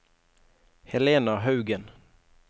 Helena Haugen